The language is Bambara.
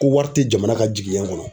Ko wari tɛ jamana ka jigiɲɛ kɔnɔ.